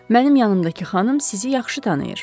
Mənim yanımdakı xanım sizi yaxşı tanıyır.